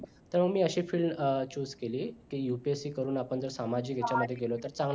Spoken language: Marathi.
तर मी अशी field choose केली की UPSC करून जर आपण सामाजिक याच्यामध्ये गेलो तर चांगलं